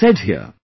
It is said here